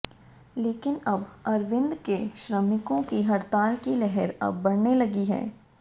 लेकिन अब अरविंद के श्रमिकों की हड़ताल की लहर अब बढऩे लगी है